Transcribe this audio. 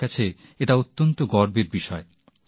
আমার কাছে এটা অত্যন্ত গর্বের বিষয়